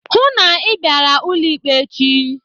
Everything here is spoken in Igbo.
Hụụ na Ị bịara ụlọ ikpe echi!